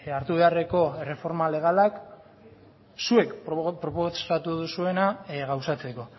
hartu beharreko erreforma legalak zuek proposatu duzuena gauzatzeko